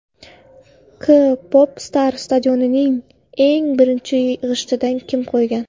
K Pop Star Stadionning eng birinchi g‘ishtini kim qo‘ygan?